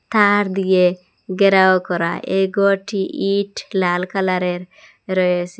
তার দিয়ে গেরাও করা এই গরটি ইট লাল কালার -এর রয়েসে।